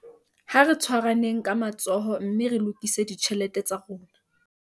Ha re tshwaraneng ka matsoho mme re lokise ditjhelete tsa rona